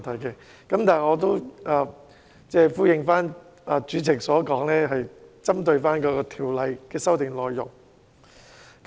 不過，我會依照主席所說，針對《條例草案》的修訂內容發言。